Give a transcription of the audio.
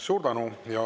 Suur tänu!